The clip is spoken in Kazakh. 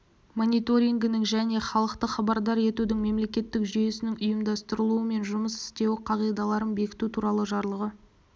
мониторингінің және халықты хабардар етудің мемлекеттік жүйесінің ұйымдастырылуы мен жұмыс істеуі қағидаларын бекіту туралы жарлығы